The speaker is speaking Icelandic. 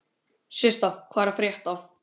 Systa, hvað er að frétta?